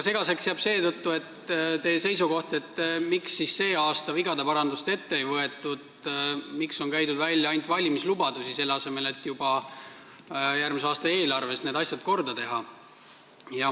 Seetõttu jääb segaseks teie seisukoht, miks siis see aasta vigade parandust ette ei võetud ja miks on käidud välja ainult valimislubadusi, selle asemel et juba järgmise aasta eelarves need asjad korda teha.